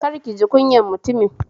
Kar kiji kunyar mutumin